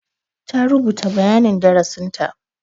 Ta rubuta bayanin darasinta.